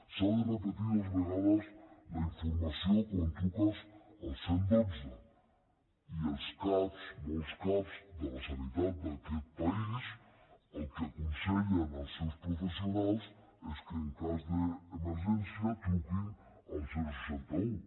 s’ha de repetir dues vegades la informació quan truques al cent i dotze i els cap molts cap de la sanitat d’aquest país el que aconsellen als seus professionals és que en cas d’emergència truquin al seixanta un